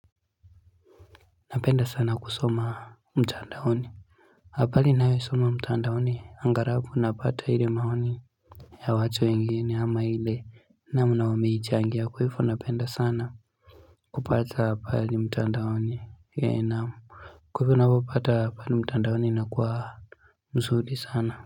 Napenda sana kusoma mtandaoni. Apali nawe soma mtandaoni angalabu napata ile maoni ya wacha wengine ama ile namna wameichangia kwa hifo napenda sana kupata apali mtandaoni ya namu Kwa hivo napopata apali mtandaoni na kwa msuli sana.